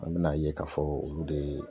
An bɛna ye k'a fɔ olu de ye